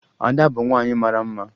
Ada bụ nwaanyị mara mma